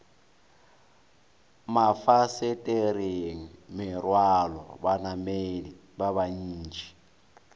mafasetereng merwalo banamedi ba bantši